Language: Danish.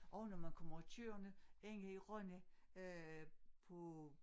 Og når man kommer kørende inde i Rønne øh på